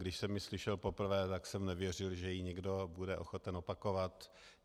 Když jsem ji slyšel poprvé, tak jsem nevěřil, že ji někdo bude ochoten opakovat.